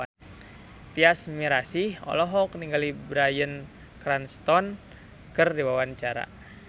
Tyas Mirasih olohok ningali Bryan Cranston keur diwawancara